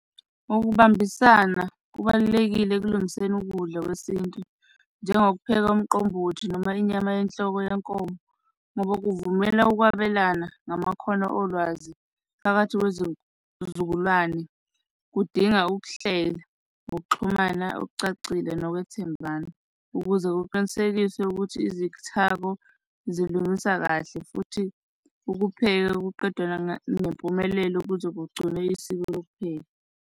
Ukubambisana kubalulekile ekulingiseni ukudla kwesintu, njengokupheka umqombothi noma inyama yenhloko yenkomo, ngoba kuvumela ukwabelana ngamakhono olwazi phakathi kwezizukulwane kudinga ukuhlela ngokuxhumana okucacile nokwethembana ukuze kuqinisekise ukuthi izithako zilungisa kahle futhi ukupheka ekuqedelwa ngempumelelo ukuze kugcinwe isiko lokupheka.